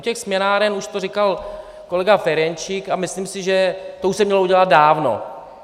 U těch směnáren už to říkal kolega Ferjenčík a myslím si, že to už se mělo udělat dávno.